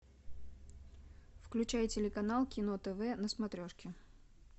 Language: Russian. включай телеканал кино тв на смотрешке